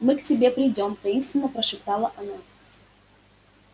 мы к тебе придём таинственно прошептала она